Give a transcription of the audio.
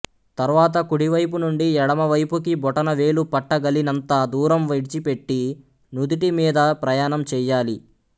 తర్వాత కుడివైపు నుండి ఎడమ వైపుకి బొటనవేలు పట్టగలినంత దూరం విడిచిపెట్టి నుదుటిమీద ప్రయాణం చెయ్యాలి